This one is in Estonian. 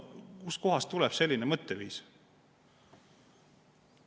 Kust kohast tuleb selline mõtteviis?